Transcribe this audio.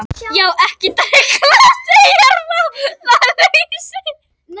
Já, ekki dugði að deyja ráðalaus!